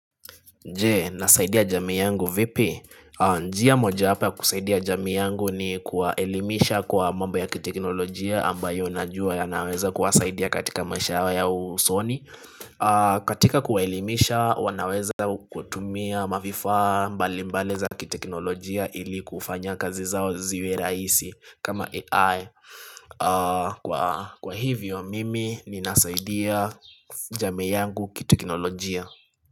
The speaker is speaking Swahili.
Je, nasaidia jamii yangu vipi, njia mojawapo ya kusaidia jamii yangu ni kuwaelimisha kwa mambo ya kiteknolojia ambayo najua yanaweza kuwasaidia katika maisha yao ya usoni katika kuwaelimisha wanaweza kutumia mavifaa mbalimbali za kiteknolojia ili kufanya kazi zao ziwe rahisi kama AI Kwa hivyo mimi ninasaidia jamii yangu kiteknolojia.